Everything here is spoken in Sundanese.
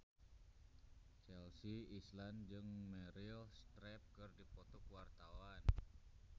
Chelsea Islan jeung Meryl Streep keur dipoto ku wartawan